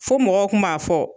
Fo mɔgɔw kun b'a fɔ